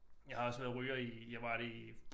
Jeg har også været ryger i jeg var det i